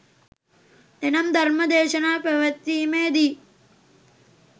එනම් ධර්ම දේශනා පැවැත්වීමේ දී